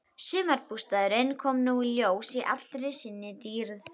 Sumarbústaðurinn kom nú í ljós í allri sinni dýrð.